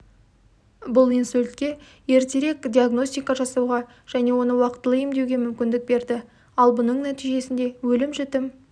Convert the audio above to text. бұл инсультке ертерек диагностика жасауға және оны уақытылы емдеуге мүмкіндік берді ал бұның нәтижесінде өлім-жітім